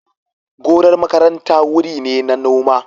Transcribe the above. Gonar makaranta wuri ne na noma.